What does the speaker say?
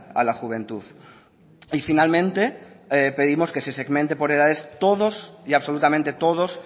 a la juventud y finalmente pedimos que se segmente por edades todos y absolutamente todos